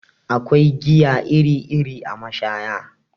Akwai giya iri iri a mashaya